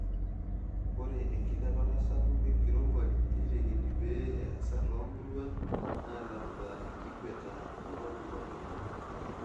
Ore enkilepata sapuk enkirowuaj neitekini pee easa toomuruan naalamita ikweta e kopikop enkop.